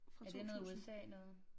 Fra 2000